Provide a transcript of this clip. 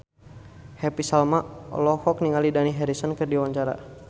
Happy Salma olohok ningali Dani Harrison keur diwawancara